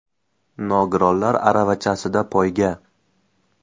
Nogironlar aravachasida poyga.